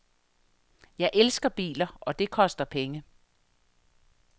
Jeg elsker biler, og det koster penge.